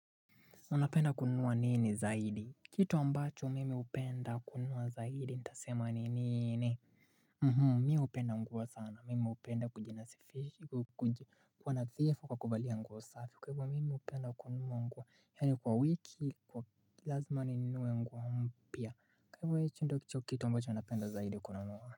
Unapenda kununua nini zaidi? Kitu ambacho mimi hupenda kunua zaidi. Ntasema ni nini? Mhum, mi hupenda mbwa sana. Mimi hupenda kujinasifisha. Kuwa nadhifu kwa kuvalia nguo safi. Kwa hivo mimi hupenda kunua nguo. Yaani kwa wiki, kwa kilazima ni ninunue nguo mpya. Kwa hichi ndicho kitu ambacho ninapenda zaidi kununua.